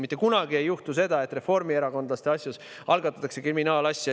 Mitte kunagi ei juhtu seda, et reformierakondlaste asjas algatatakse kriminaalasi.